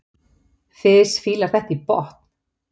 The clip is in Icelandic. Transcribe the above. Fis fílar þetta í botn!